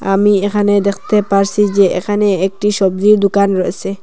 আমি এখানে দেখতে পারসি যে এখানে একটি সবজি দোকান রয়েছে।